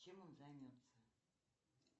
чем он займется